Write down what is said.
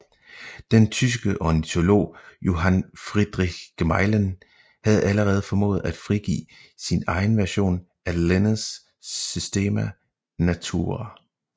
Den tyske ornitolog Johann Friedrich Gmelin havde allerede formået at frigive sin egen version af Linnés Systema Naturae